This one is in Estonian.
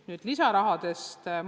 Nüüd lisarahast.